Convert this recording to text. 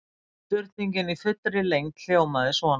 Spurningin í fullri lengd hljómaði svona: